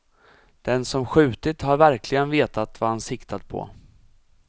Den som skjutit har verkligen vetat vad han siktat på.